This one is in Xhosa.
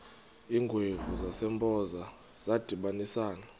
iingwevu zasempoza zadibanisana